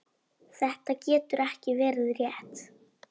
Þetta getur ekki verið rétt.